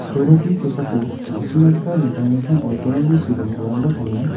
sorokni kosako ma·sina gita dingtang dingtang oikorrangchi see dongiparangba donga.